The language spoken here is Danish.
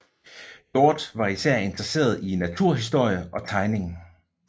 Hjorth var især interesseret i naturhistorie og tegning